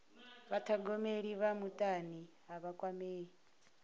vhathogomeli vha mutani a vha kwamei